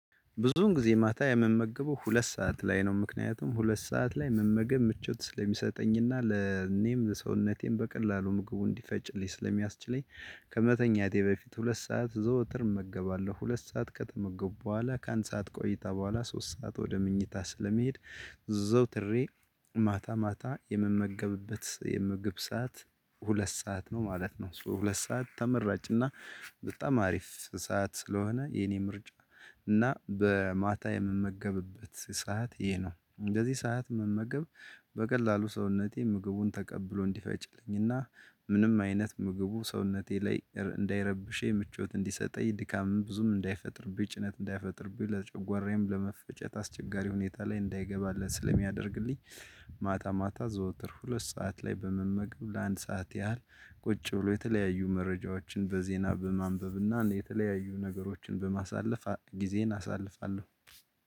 ብዙውን ጊዜ ማታ የምመገበው ሁለት ሰዓት ላይ ነው ምክንያቱም ሁለት ሰዓት ላይ መመገብ ምቾት ስለሚሰጠኝና ለኔም ሰውነቴም በቀላሉ ምግቡ እንዲፈጭልኝ ስለሚያስችለኝ። ከመተኛቴ በፊት ሁለት ሰዓት ዘውትር እመገባለሁ ሁለት ሰዓት ከተመገቡ በኋላ ከአንድ ሰዓት ቆይታ በኋላ ሶስት ሰዓት ወደ ምኝታ ስለምሄድ። አዘውትሬ ማታ ማታ የምመገብበት የምግብ ሰዓት። ሁለት ሰዓት ነው ማለት ነው። እሱ ሁለት ሰዓት ተመራጭ እና በጣም አሪፍ ሰዓት ስለሆነ የኔ ምርጫ። እና በማታ የምመገብበት ሰዓት ይሄ ነው በዚህ ሰዓት መመገብ። በቀላሉ ሰውነቴ ምግቡን ተቀብሎ እንዲፈጭልኝና ምንም አይነት ምግቡ ሰውነቴ ላይ እንዳይረብሸኝ ምቾት እንዲሰጠኝ ድካምም ብዙም እንዳይፈጥርብኝ ጭነት እንዳይፈጥር ብዬ ለጨጓራዬም ለመፈጨት አስቸጋሪ ሁኔታ ላይ እንዳይገባለት ስለሚያደርግልኝ። ማታ ማታ ዘወትር ሁለት ሰዓት ላይ በመመገብ ለአንድ ሰዓት ያህል ቁጭ ብሎ የተለያዩ መረጃዎችን በዜና በማንበብና የተለያዩ ነገሮችን በማሳለፍ ጊዜን አሳልፋለሁ።